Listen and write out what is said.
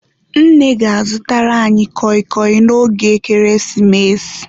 Nne ga-azụtara anyị kọị kọị n'oge ekeresimesi.